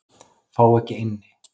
Fá ekki inni